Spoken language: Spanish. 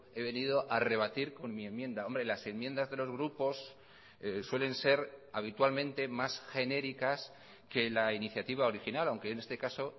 he venido a rebatir con mi enmienda hombre las enmiendas de los grupos suelen ser habitualmente más genéricas que la iniciativa original aunque en este caso